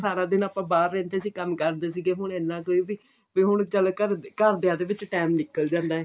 ਸਾਰਾ ਦਿਨ ਆਪਾਂ ਬਾਹਰ ਰਹਿੰਦੇ ਸੀ ਕੰਮ ਕਰਦੇ ਸੀਗੇ ਹੁਣ ਇੰਨਾ ਕੇ ਬੀ ਬੀ ਹੁਣ ਚੱਲ ਘਰ ਘਰਦਿਆਂ ਦੇ ਵਿੱਚ ਟੇਮ ਨਿਕਲ ਜਾਂਦਾ ਏ